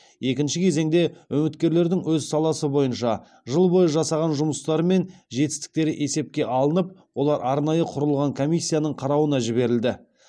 екінші кезеңде үміткерлердің өз саласы бойынша жыл бойы жасаған жұмыстары мен жетістіктері есепке алынып олар арнайы құрылған комиссияның қарауына жіберілді